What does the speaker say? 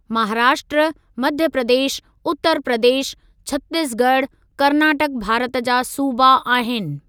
महाराष्ट्र, मध्य प्रदेश, उत्तर प्रदेश, छत्तीसगढ़, कर्नाटक भारत जा सूबा आहिनि।